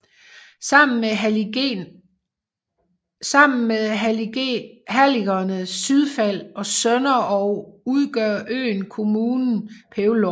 Sammen med halligerne Sydfald og Sønderog udgør øen kommunen Pelvorm